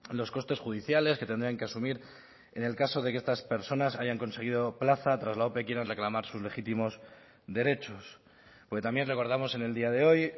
los costes judiciales que tendrían que asumir en el caso de que estas personas hayan conseguido plaza tras la ope quieran reclamar sus legítimos derechos porque también recordamos en el día de hoy